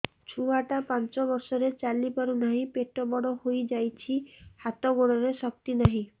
ଛୁଆଟା ପାଞ୍ଚ ବର୍ଷର ଚାଲି ପାରୁ ନାହି ପେଟ ବଡ଼ ହୋଇ ଯାଇଛି ହାତ ଗୋଡ଼ରେ ଶକ୍ତି ନାହିଁ